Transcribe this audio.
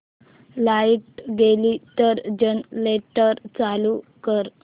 light गेली तर generator चालू कर